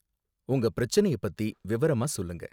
உங்க பிரச்சனைய பத்தி விவரமா சொல்லுங்க.